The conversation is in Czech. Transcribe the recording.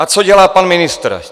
A co dělá pan ministr?